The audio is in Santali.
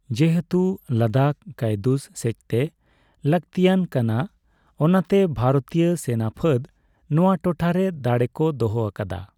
ᱡᱮᱦᱮᱛᱩ ᱞᱟᱫᱟᱠᱷ ᱠᱟᱭᱰᱩᱥ ᱥᱮᱪᱛᱮ ᱞᱟᱠᱹᱛᱤᱟᱱ ᱠᱟᱱᱟ, ᱚᱱᱟᱛᱮ ᱵᱷᱟᱨᱚᱛᱤᱭᱚ ᱥᱮᱱᱟᱯᱷᱟᱹᱫᱽ ᱱᱚᱣᱟ ᱴᱚᱴᱷᱟᱨᱮ ᱫᱟᱲᱮ ᱠᱚ ᱫᱚᱦᱚ ᱟᱠᱟᱫᱟ ᱾